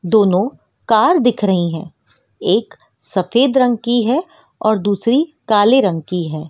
दोनों कार दिख रही हैं एक सफ़ेद रंग की है और दूसरी काले रंग की है।